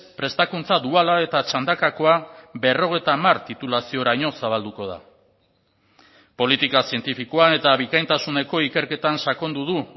prestakuntza duala eta txandakakoa berrogeita hamar titulazioraino zabalduko da politika zientifikoan eta bikaintasuneko ikerketan sakondu du